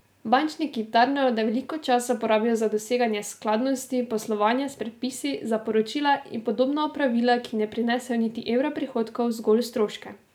Bančniki tarnajo, da veliko časa porabijo za doseganje skladnosti poslovanja s predpisi, za poročila in podobna opravila, ki ne prinesejo niti evra prihodkov, zgolj stroške.